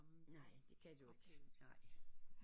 Nej det kan du ikke nej